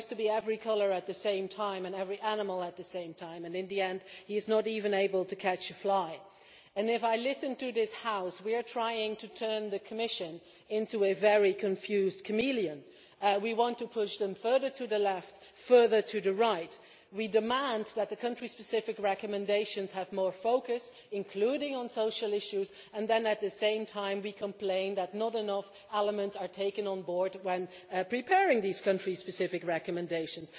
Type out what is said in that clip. He tries to be every colour at the same time and every animal at the same time, and in the end he is not even able to catch a fly. If I listen to this House, we are trying to turn the Commission into a very confused chameleon. We want to push them further to the left, further to the right, we demand that the country specific recommendations have more focus, including on social issues, and then at the same time we complain that not enough elements are taken on board when preparing these country specific recommendations.